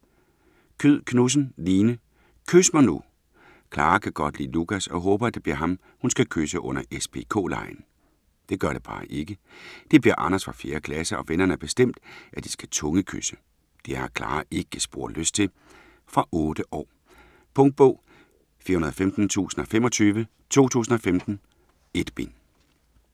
Kyed Knudsen, Line: Kys mig nu! Klara kan godt lide Lukas og håber, at det bliver ham, hun skal kysse under S-P-K-legen. Det gør det bare ikke. Det bliver Anders fra 4. klasse, og vennerne har bestemt, at de skal tungekysse. Det har Klara ikke spor lyst til. Fra 8 år. Punktbog 415025 2015. 1 bind.